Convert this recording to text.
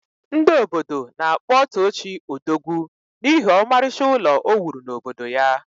Ndị obodo na-akpọ Tochi Odogwu n’ihi ọmarịcha ụlọ o wuru n’obodo ya